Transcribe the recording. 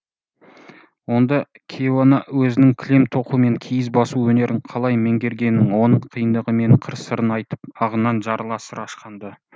онда кейуана өзінің кілем тоқу мен киіз басу өнерін қалай меңгергенін оның қиындығы мен қыр сырын айтып ағынан жарыла сыр ашқан ды